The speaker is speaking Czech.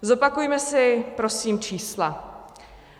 Zopakujme si prosím čísla.